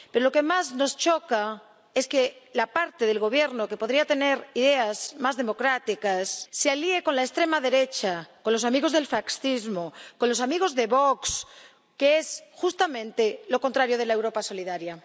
Pero lo que más nos choca es que la parte del Gobierno que podría tener ideas más democráticas se alíe con la extrema derecha, con los amigos del fascismo, con los amigos de Vox, que es justamente lo contrario de la Europa solidaria.